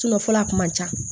fɔlɔ a kun man ca